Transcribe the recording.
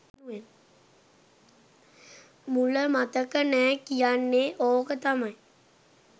මුල මතක නැ කියන්නේ ඕක තමයි.